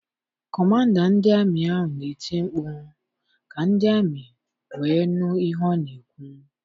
Kọmanda ndị amị ahụ na-eti mkpu ka ndị ami wee nụ ihe ọ na-ekwu.